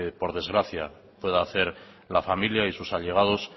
por desgracia pueda hacer la familia y sus allegados